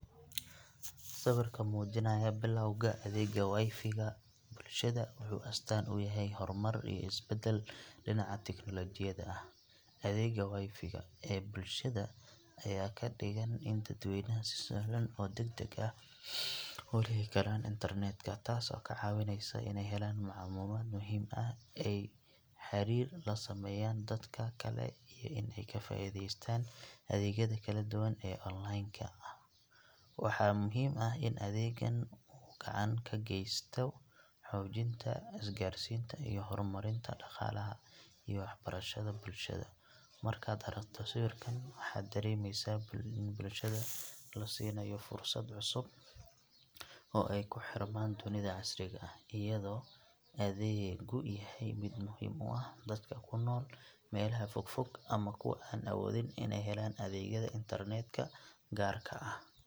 Sawirka muujinaya bilowga adeegga wifi ga bulshada wuxuu astaan u yahay horumar iyo isbeddel dhinaca tiknoolajiyada ah. Adeegga wifi ga ee bulshada ayaa ka dhigan in dadweynaha si sahlan oo degdeg ah u heli karaan internet-ka, taasoo ka caawineysa inay helaan macluumaad muhiim ah, ay xiriir la sameeyaan dadka kale, iyo inay ka faa’iidaystaan adeegyada kala duwan ee online-ka. Waxaa muhiim ah in adeeggan uu gacan ka geysto xoojinta isgaarsiinta iyo horumarinta dhaqaalaha iyo waxbarashada bulshada. Markaad aragto sawirkan, waxaad dareemaysaa in bulshada la siinayo fursad cusub oo ay ku xirmaan dunida casriga ah, iyadoo adeeggu yahay mid muhiim u ah dadka ku nool meelaha fogfog ama kuwa aan awoodin inay helaan adeegyada internet-ka gaarka ah.